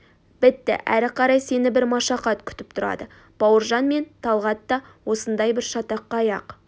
бітті әрі қарай сені бір машақат күтіп тұрады бауыржан мен талғат та осындай бір шатаққа аяқ